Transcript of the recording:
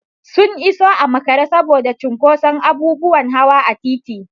Sun iso a makare saboda cinƙoson abubuwan hawa a titi.